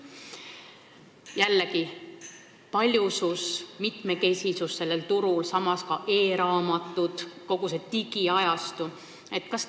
Jällegi, paljusus, mitmekesisus sellel turul, samas ka e-raamatud, kogu digiajastu.